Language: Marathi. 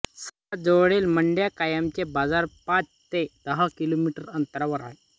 सर्वात जवळील मंडयाकायमचे बाजार पाच ते दहा किलोमीटर अंतरावर आहेत